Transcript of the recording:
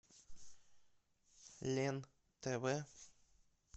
лен тв